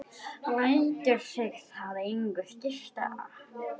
Lætur sig það engu skipta.